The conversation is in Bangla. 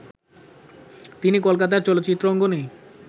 তিনি কলকাতার চলচ্চিত্র অঙ্গনে